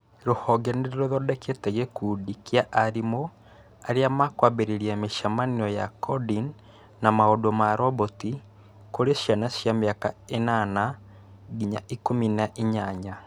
Rũhonge nïrũthondekete gïkundi kĩa arimũ arĩa mwkũambĩrĩria mïcemanio ya coding na maundu ma roboti kũrĩ ciana cia mĩaka 8-18